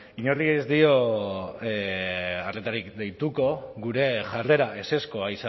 inori ez dio arretarik deituko gure jarrera ezezkoa